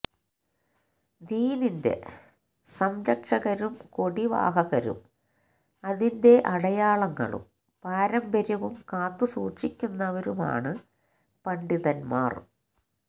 ദീനിന്റെ സംരക്ഷകരും കൊടിവാഹകരും അതിന്റെ അടയാളങ്ങളും പാരമ്പര്യവും കാത്തുസൂക്ഷിക്കുന്നവരുമാണ് പണ്ഡിതന്മാര്